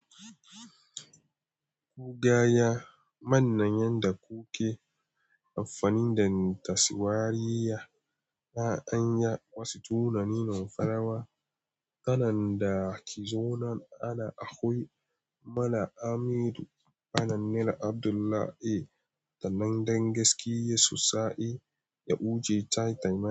Ku gaya, manne yanda kuke amfani dan taswariya. Na' anya wasu tunanin farawa, ƙanan da ki zo nan ana akwai mana Amidu, Anan nena Abdullah, eh tanan dan gaskiya su sa'e ya wuce Tita.